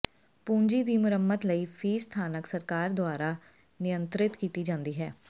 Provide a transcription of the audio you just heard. ਪੂੰਜੀ ਦੀ ਮੁਰੰਮਤ ਲਈ ਫੀਸ ਸਥਾਨਕ ਸਰਕਾਰ ਦੁਆਰਾ ਨਿਯੰਤ੍ਰਿਤ ਕੀਤੀ ਜਾਂਦੀ ਹੈ